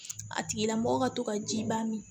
A tigila mɔgɔ ka to ka ji baa min